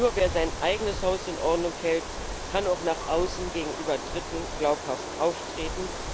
Nur wer sein eigenes Haus in Ordnung hält, kann auch nach außen gegenüber Dritten glaubhaft auftreten.